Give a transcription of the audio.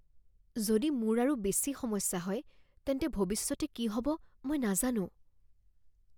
যদি মোৰ আৰু বেছি সমস্যা হয়, তেন্তে ভৱিষ্যতে কি হ'ব মই নাজানো